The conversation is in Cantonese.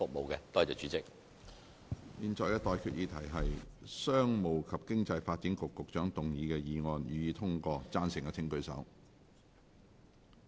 我現在向各位提出的待決議題是：商務及經濟發展局局長動議的議案，予以通過。